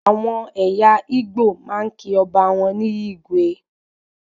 Àwọn ẹyà Igbo máa ń kí ọba ní "igwe"